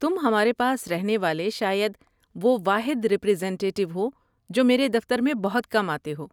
تم ہمارے پاس رہنے والے شاید وہ واحد ہیڈ ریپریزنٹیٹیو ہو جو میرے دفتر میں بہت کم آتے ہو۔